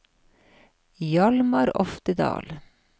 Hjalmar Oftedal